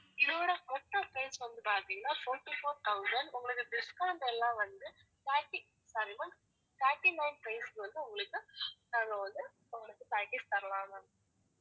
இதோட மொத்தம் price வந்து பாத்தீங்கன்னா fourty-four thousand உங்களுக்கு discount எல்லாம் வந்து thirty sorry ma'am thirty-nine price க்கு வந்து உங்களுக்கு நாங்க வந்து உங்களுக்கு package தரலாம் ma'am